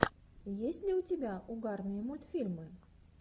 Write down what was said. есть ли у тебя угарные мультфильмы